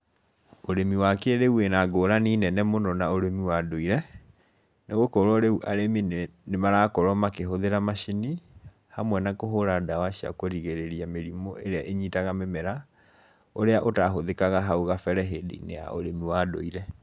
Ũrĩmi wa kĩrĩu wĩna ngũrani nene mũno na ũrĩmi wa ndũire, nĩ gũkorwo rĩu arĩmi nĩ nĩ marakorwo makĩhũthĩra macini, hamwe na kũhũra ndawa cia kũrigĩrĩria mĩrimũ ĩrĩa ĩnyitaga mĩmera, ũrĩa ũtahũthĩkaga hau kabere hĩndĩ-inĩ ya ũrĩmi wa ndũire.